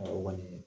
o kɔni